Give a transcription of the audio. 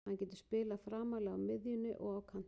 Hann getur spilað framarlega á miðjunni og á kantinum.